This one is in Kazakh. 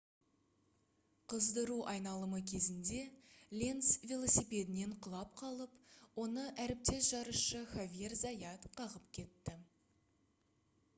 қыздыру айналымы кезінде ленц велосипедінен құлап қалып оны әріптес жарысшы хавьер зайат қағып кетті